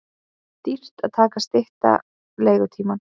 Dýrt að stytta leigutímann